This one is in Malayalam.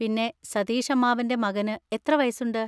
പിന്നെ, സതീഷ് അമ്മാവൻ്റെ മകന് എത്ര വയസ്സുണ്ട്?